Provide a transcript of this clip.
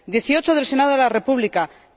18 del Senado de la República Italiana